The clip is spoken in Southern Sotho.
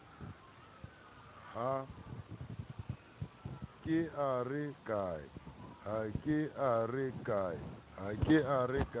ha ke a re ke